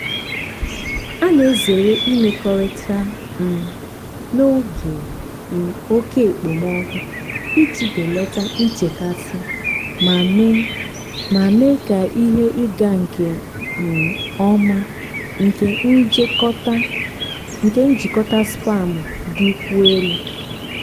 a na-ezere imekọrịta um n'oge um oke okpomọkụ iji belata nchekasị ma mee ma mee ka ihe ịga nke um ọma nke njikọta spam dịkwuo elu.